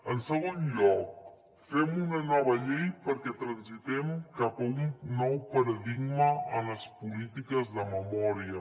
en segon lloc fem una nova llei perquè transitem cap a un nou paradigma en les polítiques de memòria